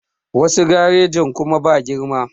Wasu garejin kuma ba girma